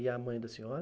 E a mãe da senhora?